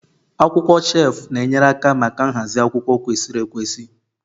Akwụkwọ shelf na-enyere aka maka nhazi akwụkwọ kwesịrị ekwesị